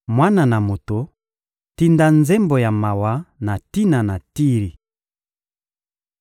«Mwana na moto, tinda nzembo ya mawa na tina na Tiri!